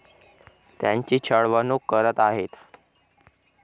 त्यांची छळवणूक करत आहेत.